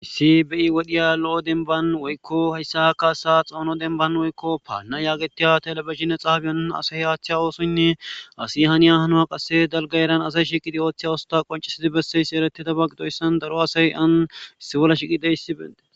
Issi bei wodhiya lo7o denban woykko hayssa kaasa xawuno denban woykko paalna yaagetiya telabihinne xaabiyan asay haaththe oosoynne asi haniya hanoha qasse dalga eran asay shiqidi ooththey usta qoncisidi besseysi ereti dabaqidoyssan daro asay an issibolla shiqide hissibende.